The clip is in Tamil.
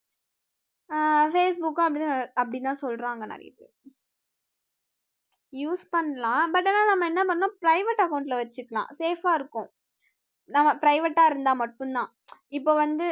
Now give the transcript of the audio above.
அஹ் facebook அப்படித்தான் சொல்றாங்க நிறைய பேர் use பண்ணலாம் but ஆனா நம்ம என்ன பண்ணணும் private account ல வச்சுக்கலாம் safe ஆஹ் இருக்கும் அஹ் private ஆ இருந்தா மட்டும்தான் இப்ப வந்து